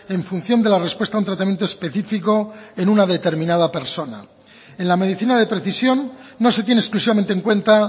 en función de la respuesta a un tratamiento específico en una determinada persona en la medicina de precisión no se tiene exclusivamente en cuenta